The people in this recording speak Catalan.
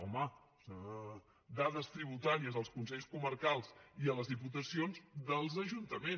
home dades tributaries als consells comarcals i a les diputacions dels ajuntaments